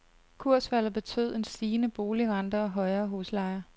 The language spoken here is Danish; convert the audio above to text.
Kursfaldet betød en stigende boligrente og højere huslejer.